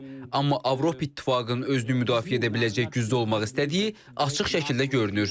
Amma Avropa İttifaqının özünü müdafiə edə biləcək gücdə olmaq istədiyi açıq şəkildə görünür.